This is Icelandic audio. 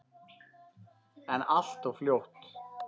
En allt of fljótt.